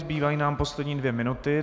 Zbývají nám poslední dvě minuty.